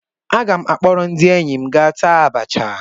Aga m akpọrọ ndị enyi m gaa taa abacha.